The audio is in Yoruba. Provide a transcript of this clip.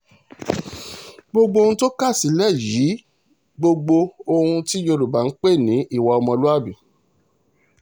gbogbo ohun tó kà sílẹ̀ yìí gbogbo ohun tí yorùbá ń pè ní ìwà ọmọlúàbí ni